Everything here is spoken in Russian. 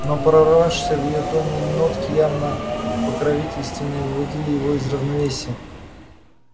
но прорывавшиеся в её тоне нотки явно покровительственные выводили его из равновесия